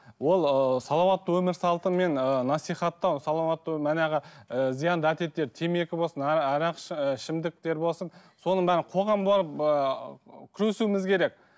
ол ыыы салауатты өмір салтымен ыыы насихаттау салауатты манағы ыыы зиянды әдеттер темекі болсын арақ ішімдіктері болсын соның бәрін қоғам болып ыыы күресуіміз керек